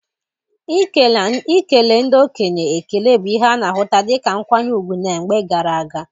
Ikele ndị okenye ekele bụ ihe a na-ahụta dịka nkwanye ùgwù na mgbe gara aga.